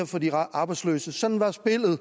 for de arbejdsløse sådan var spillet og